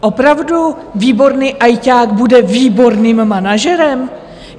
Opravdu výborný ajťák bude výborným manažerem?